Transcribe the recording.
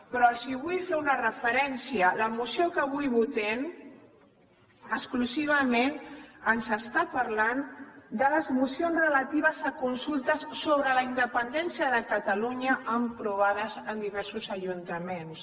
però els vull fer una referència la moció que avui votem exclusivament ens està parlant de les mocions relatives a consultes sobre la independència de catalunya aprovades en diversos ajuntaments